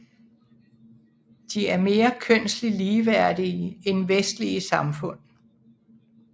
De er mere kønslig ligeværdige end vestlige samfund